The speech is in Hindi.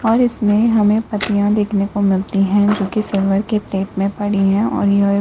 और इसमें हमें पत्तियां देखने को मिलती हैं जो कि सिल्वर की प्लेट में पड़ी है और यह--